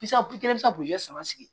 Pisɔn kelen i bɛ se ka saba sigi